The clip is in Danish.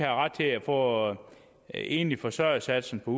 ret til at få enlig forsørger satsen på